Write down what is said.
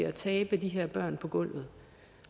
at tabe de her børn på gulvet